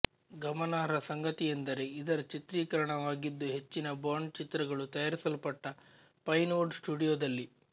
ಗಮನಾರ್ಹ ಸಂಗತಿಯೆಂದರೆ ಇದರ ಚಿತ್ರೀಕರಣವಾಗಿದ್ದು ಹೆಚ್ಚಿನ ಬಾಂಡ್ ಚಿತ್ರಗಳು ತಯಾರಿಸಲ್ಪಟ್ಟ ಪೈನ್ ವುಡ್ ಸ್ಟುಡಿಯೋದಲ್ಲಿ